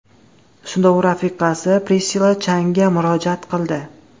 Shunda u rafiqasi Prissilla Changa murojaat qildi.